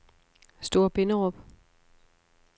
Store Binderup